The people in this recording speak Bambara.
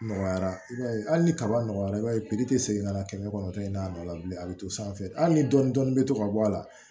Nɔgɔyara i b'a ye hali ni kaba nɔgɔyara i b'a ye piri tɛ segin ka na kɛmɛ kɔnɔnɔ tɔ ye n'a nɔgɔya bilen a bɛ to sanfɛ hali ni dɔɔni dɔɔni bɛ to ka bɔ a la